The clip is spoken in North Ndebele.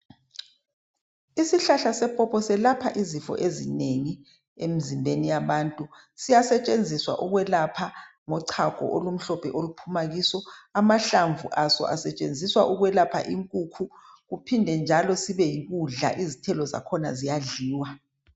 isihlahla sepopo selapha izifo ezinengi emzimbeni yabantu siyasetshenziswa ukwelapha ngochago olumhlophe oluphuma kiso amahlamvu aso asetshenziswa ukulapha inkukhu kuphinde njalo kube yikudla izithelo zakhona ziyadliwa